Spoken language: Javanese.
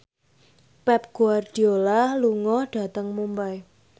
Pep Guardiola lunga dhateng Mumbai